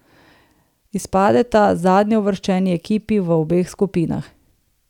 Izpadeta zadnjeuvrščeni ekipi v obeh skupinah.